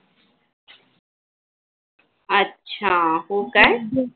अच्छा हो काय